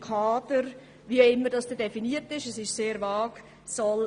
Kader – oder wie immer das dann definiert wird – senken soll.